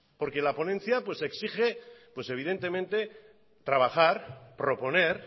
porque la ponencia exige pues evidentemente trabajar proponer